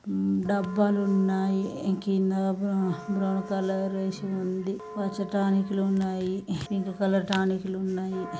ఉమ్ డబ్బాలున్నాయి కింద brown colour వేసి ఉంది పచ్చ టానికులు ఉన్నాయి పింక్ కలర్ టానికులు లు ఉన్నాయి.